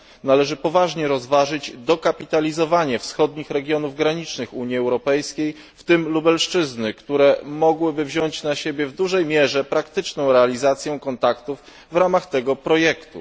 Należy poważnie rozważyć dokapitalizowanie wschodnich regionów granicznych Unii Europejskiej, w tym Lubelszczyzny, które mogłyby wziąć na siebie w dużej mierze praktyczną realizację kontaktów w ramach tego projektu.